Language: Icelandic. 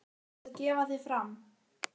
Þú varðst að gefa þig fram.